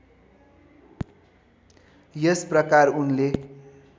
यस प्रकार उनले